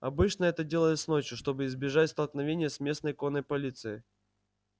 обычно это делалось ночью чтобы избежать столкновения с местной конной полицией